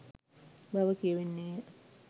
බව කියැවෙන්නේ ය